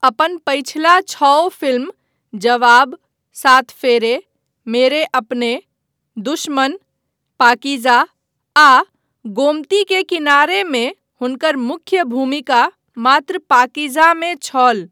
अपन पछिला छओ फिल्म, जवाब, सात फेरे, मेरे अपने, दुश्मन, पाकीजा आ गोमती के किनारे मे हुनकर मुख्य भूमिका मात्र पाकीजामे छल।